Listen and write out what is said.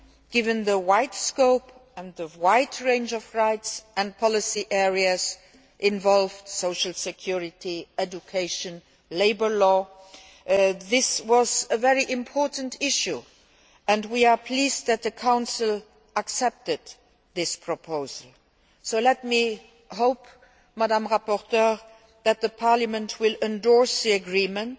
law. Given the wide scope and the wide range of rights and policy areas involved social security, education, labour law this was a very important issue and we are pleased that the Council accepted this proposal. Let me hope, Ms Mathieu, that Parliament will endorse the agreement